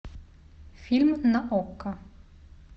фильм на окко